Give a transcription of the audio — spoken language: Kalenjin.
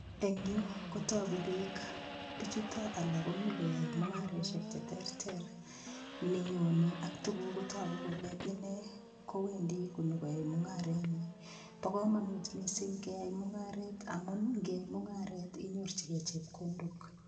Eng yu kotoku piik, pichuto alak komi koyoe mungaresiek che terter, ni nyoni ak tuguk kotoku kole ine kowendi konyokoae mungarenyi, bo kamanut mising keai mungaret amun ngiyai mungaret inyorchikei chepkondok.